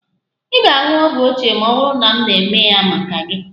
Ị ga-aṅụ ogwu ochie ma ọ bụrụ na m na-eme ha maka gị?